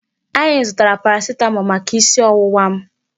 Anyị zụtara paracetamol maka isi ọwụwa m.